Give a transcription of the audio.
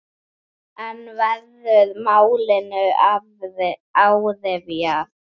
En verður málinu áfrýjað?